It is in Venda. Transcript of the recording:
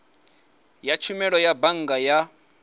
ya tshumelo ya bannga ya